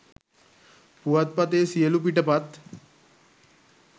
පුවත්පතේ සියලූ පිටපත්